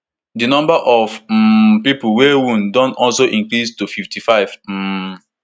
di number of um pipo wey wound don also increase to fifty-five um